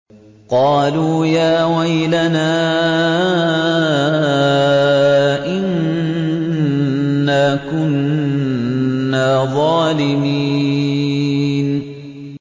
قَالُوا يَا وَيْلَنَا إِنَّا كُنَّا ظَالِمِينَ